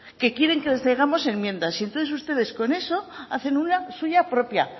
qué quieren que les traigamos enmiendas y entonces ustedes con eso hacen una suya propia